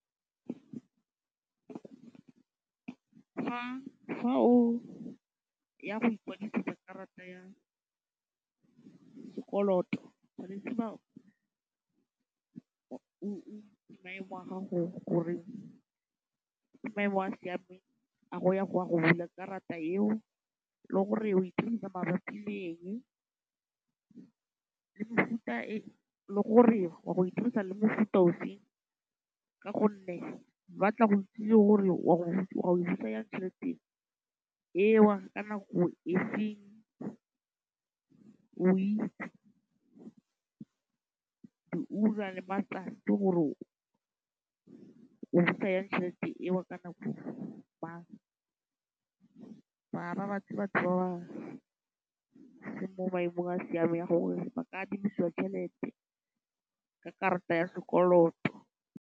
Fa o ya go ikwadisetsa karata ya sekoloto, tshwanetse ba maemo a gago gore ke maemo a a siameng a go ya go ya go bula karata eo le gore o e dirisa mabapi le eng. Le gore wa go e dirisa le mefuta e feng . Ba batla go itse gore wa go e dirisa jang tšhelete eo, ka nako e feng, o itse di ura le matsatsi gore o busa jang tšhelete eo ka nako mang. se mo maemong a siameng gore ba ka adimiswa tšhelete, karata ya sekoloto.